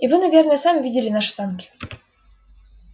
и вы наверно сами видели наши танки